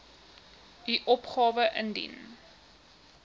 u opgawe indien